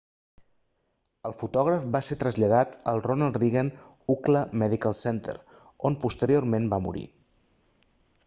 el fotògraf va ser traslladat al ronal reagan ucla medical center on posteriorment va morir